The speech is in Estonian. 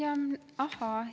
Ahhaa!